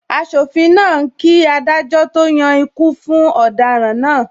Asofin náà ń kí adájọ́ to yan ikú fún ọ̀daràn náà.